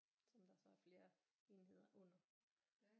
Som der så er flere enheder under